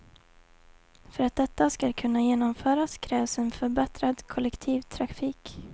För att detta skall kunna genomföras krävs en förbättrad kollektivtrafik.